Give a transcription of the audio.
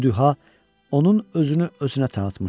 Bu duha onun özünü özünə tanıtmışdı.